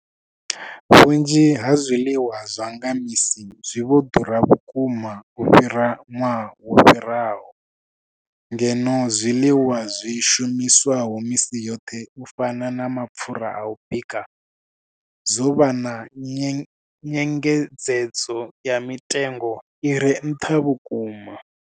Vhunzhi ha zwiḽiwa zwa nga misi zwi vho ḓura vhukuma u fhira ṅwaha wo fhiraho, ngeno zwiḽiwa zwi shumiswaho misi yoṱhe u fana na mapfhura a u bika zwo vha na nyengedzedzo ya mitengo i re nṱha vhukuma.